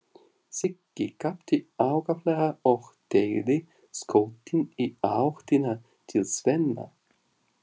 Siggi gapti ákaflega og teygði skoltinn í áttina til Svenna.